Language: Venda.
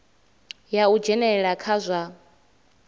ya u dzhenelela kha zwa